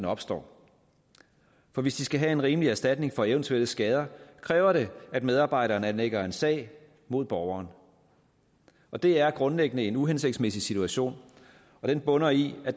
opstår for hvis de skal have en rimelig erstatning for eventuelle skader kræver det at medarbejderen anlægger en sag mod borgeren og det er grundlæggende en uhensigtsmæssig situation den bunder i at